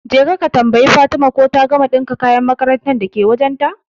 Jeka ka tambayi Fatima ko ta gama ɗinka kayan makarantar dake wajen ta